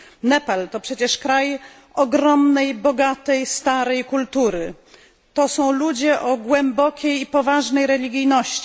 Nepal to przecież kraj ogromnej, bogatej i starej kultury. To są ludzie o głębokiej i poważnej religijności.